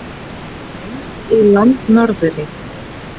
Lengst í landnorðri.